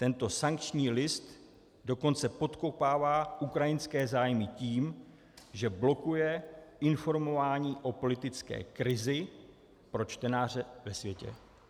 Tento sankční list dokonce podkopává ukrajinské zájmy tím, že blokuje informování o politické krizi pro čtenáře ve světě."